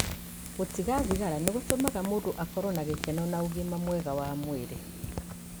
Gũtiga thigara nĩ gũtũmaga mũndũ akorũo na gĩkeno na ũgima mwega wa mwĩrĩ.